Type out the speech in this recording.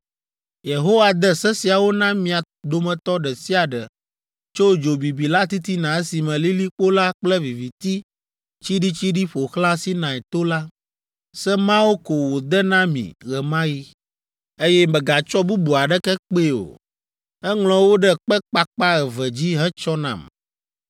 Yehowa de se siawo na mia dometɔ ɖe sia ɖe tso dzo bibi la titina esime lilikpo la kple viviti tsiɖitsiɖi ƒo xlã Sinai to la, se mawo ko wòde na mi ɣe ma ɣi, eye megatsɔ bubu aɖeke kpee o. Eŋlɔ wo ɖe kpe kpakpa eve dzi hetsɔ nam.